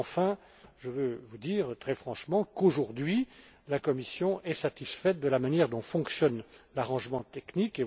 Enfin, je veux vous dire très franchement que la Commission est satisfaite de la manière dont fonctionne l'arrangement technique.